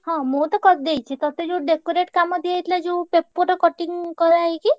ହଁ ମୁଁ ତ କରିଦେଇଚି ତତେ ଯୋଉ decorate କାମ ଦିଆହେଇଥିଲା ଯୋଉ paper ର cutting କରାହେଇକି?